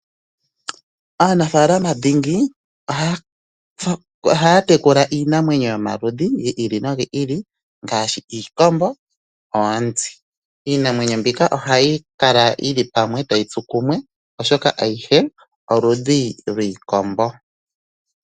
Aanafaalama dhingi ohaatekula iinamwenyo yomaludhi giili nogiili ngaashi: iikombo, oonzi iinamwenyo mbika ohayikala yili pwamwe tayitsu kumwe oshoka ayihe oludhi lwiikombo.